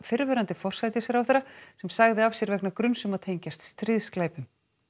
forsætisráðherra sem sagði af sér vegna gruns um að tengjast stríðsglæpum